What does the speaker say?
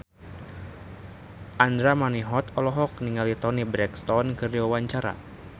Andra Manihot olohok ningali Toni Brexton keur diwawancara